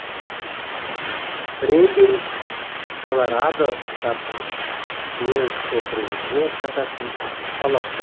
фредерик колорадо штатының уэлд округіне жататын ақш қаласы